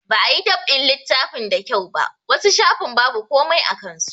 Ba a yi dab'in littafin da kyau ba, wasu shafin babu komai a kan su.